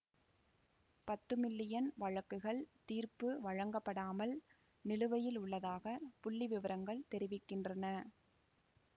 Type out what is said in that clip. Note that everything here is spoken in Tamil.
பத்து மில்லியன் வழக்குகள் தீர்ப்பு வழங்கப்படாமல் நிலுவையில் உள்ளதாகப் புள்ளி விபரங்கள் தெரிவிக்கின்றன